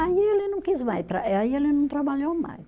Aí ele não quis mais tra, eh aí ele não trabalhou mais.